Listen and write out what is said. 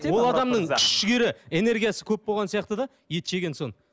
ол адамның күш жігері энергиясы көп болған сияқты да ет жеген соң